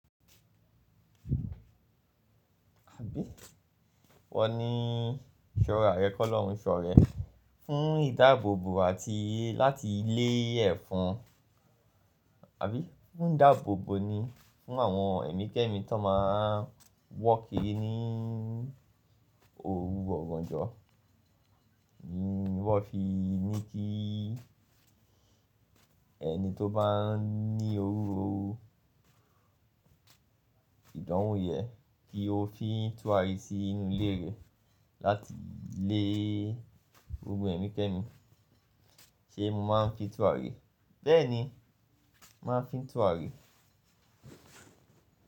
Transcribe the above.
Àbí? Wọ́n ní ṣọ́ra rẹ kọ́lọ́run, ṣọ́ rẹ̀ fún ìdáàbòbò àti láti lé ẹ̀fon, àbí fuń dáàbòbò ni fún àwọn ẹ̀mí kẹ́ẹ̀mí tó má a wọ́ kiri ní òru ọ̀gànjọ́, wọ́n fi ní kí ẹni tó bá ní iru ìdánwo yẹn kí ó fi túrarí sí inú ilé rẹ̀ láti lé gbogbo ẹ̀mí kẹ́ẹ̀mí. Ṣé mo máa ń fi túrarí? Bẹ́ẹ̀ ni, mà á fi túrarí.